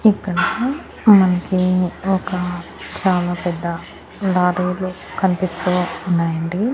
ఇక్కడ మనకి ఒక చాలా పెద్ద లారీలు కనిపిస్తూ ఉన్నాయండి.